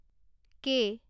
কে